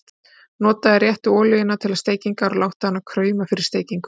Notaðu réttu olíuna til steikingar og láttu hana krauma fyrir steikingu.